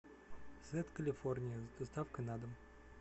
сет калифорния с доставкой на дом